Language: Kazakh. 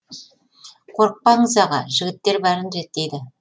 қорықпаңыз аға жігіттер бәрін реттейді